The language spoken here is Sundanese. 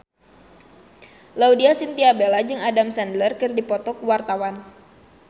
Laudya Chintya Bella jeung Adam Sandler keur dipoto ku wartawan